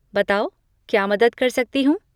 बताओ क्या मदद कर सकती हूँ?